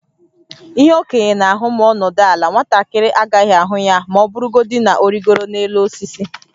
Ihe okenye na-ahụ ma ọ nọdụ ala, nwatakịrị agaghị ahụ ya ma ọ bụrụgodị na ọ rịgoro n’elu osisi.